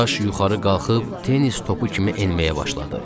Daş yuxarı qalxıb tennis topu kimi enməyə başladı.